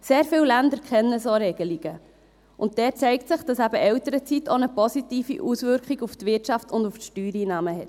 Sehr viele Länder kennen solche Regelungen, und dort zeigt sich, dass Elternzeit eben auch eine positive Auswirkung auf die Wirtschaft und auf die Steuereinnahmen hat.